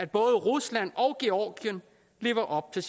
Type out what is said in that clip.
både rusland og georgien lever op til